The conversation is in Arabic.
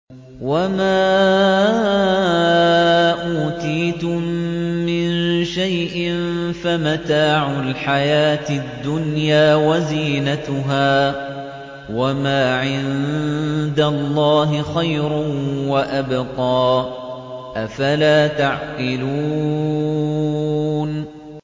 وَمَا أُوتِيتُم مِّن شَيْءٍ فَمَتَاعُ الْحَيَاةِ الدُّنْيَا وَزِينَتُهَا ۚ وَمَا عِندَ اللَّهِ خَيْرٌ وَأَبْقَىٰ ۚ أَفَلَا تَعْقِلُونَ